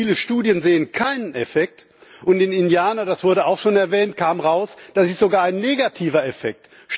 Viele Studien sehen keinen Effekt, und in Indiana das wurde auch schon erwähnt kam heraus, es gibt sogar einen negativen Effekt.